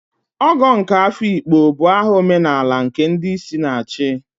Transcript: Ogo nke Afikpo bụ aha omenala nke ndi isi na-achi.